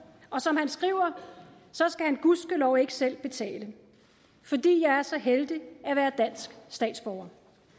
og som han skriver skal han gudskelov ikke selv betale fordi jeg er så heldig at være dansk statsborger